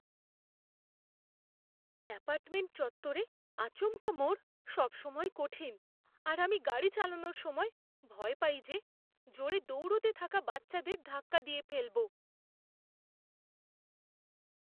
Apartment চত্বরে আচমকা মোড় সবসময়ই কঠিন, আর আমি গাড়ি চালানোর সময় ভয় পাই যে জোরে দৌড়তে থাকা বাচ্চাদের ধাক্কা দিয়ে ফেলব।